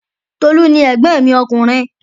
Tolu ni ẹ̀gbọ́n mi ọkùnrin